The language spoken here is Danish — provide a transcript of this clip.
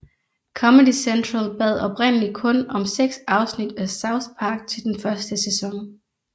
Comedy Central bad oprindeligt kun om seks afsnit af South Park til den første sæson